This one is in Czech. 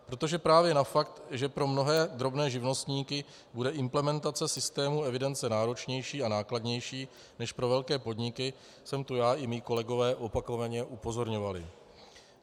Protože právě na fakt, že pro mnohé drobné živnostníky bude implementace systému evidence náročnější a nákladnější než pro velké podniky, jsme tu já i mí kolegové opakovaně upozorňovali.